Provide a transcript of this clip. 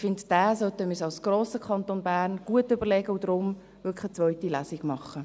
Ich finde, diesen sollten wir als grossen Kanton Bern gut überlegen und deswegen wirklich eine zweite Lesung machen.